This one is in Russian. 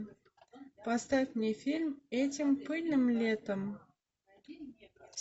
поставь мне фильм этим пыльным летом